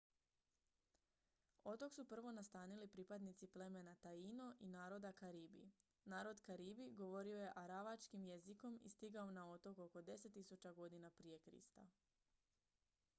otok su prvo nastanili pripadnici plemena taíno i naroda karibi. narod karibi govorio je aravačkim jezikom i stigao na otok oko 10 000 godina prije krista